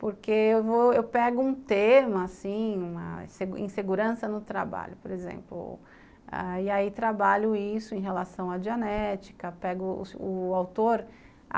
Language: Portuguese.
Porque eu pego um tema, assim, uma insegurança no trabalho, por exemplo, e aí trabalho isso em relação à dianética, pego o autor.